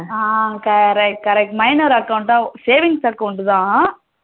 ah correct correct minor account ah savings account the